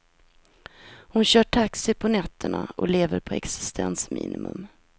Hon kör taxi på nätterna och lever på existensminimum.